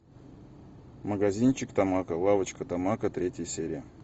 магазинчик тамако лавочка тамако третья серия